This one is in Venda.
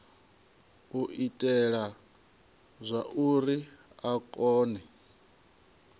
u itela zwauri a kone